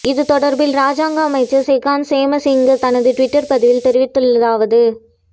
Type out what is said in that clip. இது தொடர்பில் இராஜாங்க அமைச்சர் செகான் சேமசிங்க தனது டுவிட்டர் பதிவில் தெரிவித்துள்ளதாவது